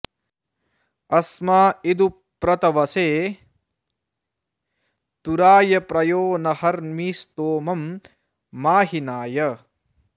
अस्मा इदु प्र तवसे तुराय प्रयो न हर्मि स्तोमं माहिनाय